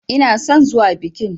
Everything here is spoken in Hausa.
Ina son zuwa bikin.